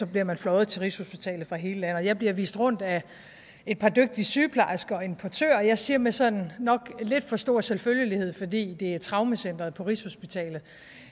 bliver man fløjet til rigshospitalet fra hele landet og jeg bliver vist rundt af et par dygtige sygeplejersker og en portør og jeg siger med sådan nok lidt for stor selvfølgelighed fordi det er traumecentret på rigshospitalet